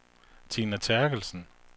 Tina Terkelsen